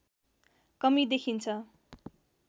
कमी देखिन्छ